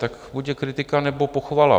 Tak buď je kritika, nebo pochvala.